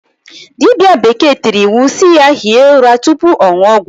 Diba bekee tiri iwu si ya hie ura tupu ọṅụ ọgwụ ya.